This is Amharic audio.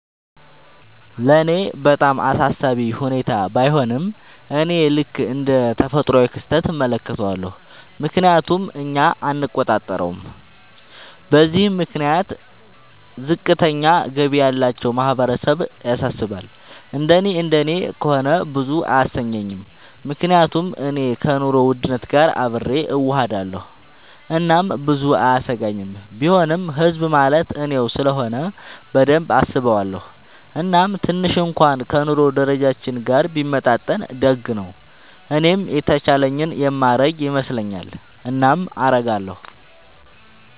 ለኔ በጣም አሳሳቢ ሁኔታ ባይሆንም፤ እኔ ልክ እንደ ተፈጥሯዊ ክስተት እመለከተዋለሁ፤ ምክንያቱም እኛ አንቆጣጠረውም። በዚህም ምክንያት ዝቅተኛ ገቢ ያላቸው ማህበረሰብ ያሳስባል፤ እንደኔ እንደኔ ከሆነ ብዙም አያሰኘኝም፤ ምክንያቱም እኔ ከኑሮ ውድነት ጋር አብሬ እሆዳለኹ እናም ብዙም አያሰጋኝም፤ ቢሆንም ህዝብ ማለት እኔው ስለሆነ በደንብ አስበዋለው፤ እናም ትንሽ እንኩዋን ከ ኑሮ ደረጃችን ጋር ቢመጣጠን ደግ ነው። እኔም የተቻለኝን የማረግ ይመስለኛል። እናም አረጋለው።